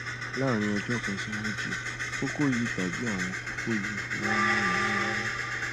láàárín ọjọ kan sí méjì kókó yìí tàbí àwọn kókó yìí máa ń ní ọyún nínú